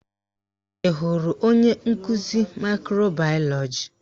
Ị hụrụ onye nkụzi ndị maịkro bayọlọji?